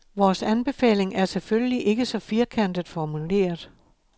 Vores anbefaling er selvfølgelig ikke så firkantet formuleret.